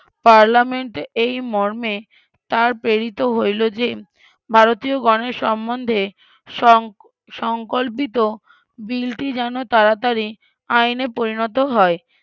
পার্লামেন্টে এই মর্মে তার প্রেরিত হইলো যে ভারতিয়গনের সম্বন্ধে ~ সংকল্পিত বিলটি যেন তাড়াতড়ি আইনে পরিণত হয়